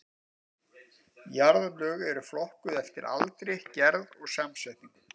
Jarðlög eru flokkuð eftir aldri, gerð og samsetningu.